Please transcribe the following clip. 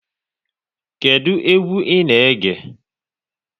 Kedụ egwu ị na-ege?